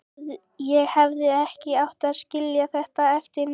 Ég hefði ekki átt að skilja þetta eftir niðri.